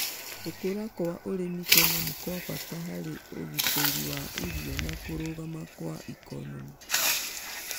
Gũkũra kwa ũrĩmi Kenya nĩ-kwabata harĩ ũgiteri wa irio na kũrũgama kwa ikonomĩ